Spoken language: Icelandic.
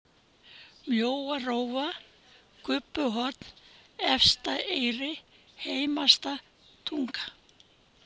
Mjóarófa, Krubbuhorn, Efsta-Eyri, Heimasta-Tunga